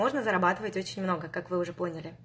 можно зарабатывать очень много как вы уже поняли